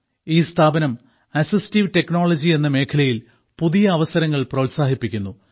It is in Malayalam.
ഈ സ്ഥാപനം അസിസ്റ്റീവ് ടെക്നോളജി എന്ന മേഖലയിൽ പുതിയ അവസരങ്ങൾ പ്രോത്സാഹിപ്പിക്കുന്നു